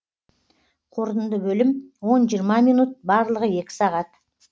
қорытынды бөлім он жиырма минут барлығы екі сағат